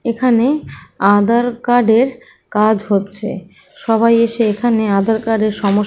এখানে আধার কার্ড এর কাজ হচ্ছে। সবাই এসে এখানে আধার কার্ড এর সম --